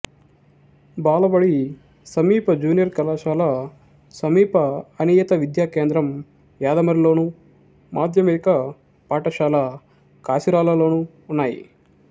బాలబడి సమీప జూనియర్ కళాశాల సమీప అనియత విద్యా కేంద్రం యాదమరిలోను మాధ్యమిక పాఠశాల కాసిరాళ్ళలోనూ ఉన్నాయి